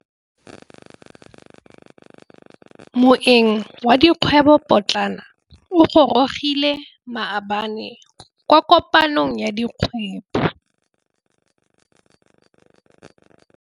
Moêng wa dikgwêbô pôtlana o gorogile maabane kwa kopanong ya dikgwêbô.